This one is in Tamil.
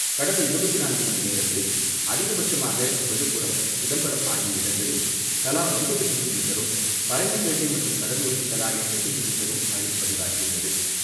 கடந்த இருபத்து நான்கு மணி நேரத்தில் அதிகபட்சமாக விழுப்புரம், சிதம்பரம் ஆகிய இடங்களில் தலா ஒன்பது சென்டிமீட்டரும், பரங்கிப்பேட்டை மற்றும் கடலூரில் தலா எட்டு சென்டிமீட்டரும் மழை பதிவாகியுள்ளது.